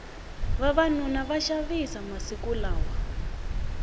vavanuna va xavisa masiku lawa